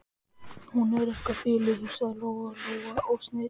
Hún er eitthvað biluð, hugsaði Lóa Lóa og sneri sér undan.